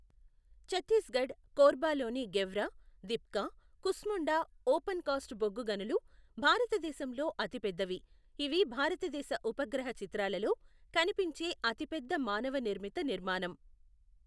ఛత్తీస్గఢ్, కోర్బాలోని Gevra, Dipka, Kusmunda open cast బొగ్గు గనులు భారతదేశంలో అతిపెద్దవి, ఇవి భారతదేశ ఉపగ్రహ చిత్రాలలో కనిపించే అతిపెద్ద మానవ నిర్మిత నిర్మాణం.